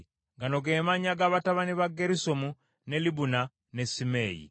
Gano ge mannya g’abatabani ba Gerusomu, ne Libuni ne Simeeyi.